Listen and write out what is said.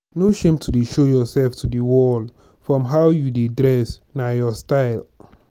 no shame to show yourself to de world from how you dey dress na your style.